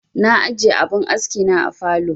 Na ajiye abin aski na a falow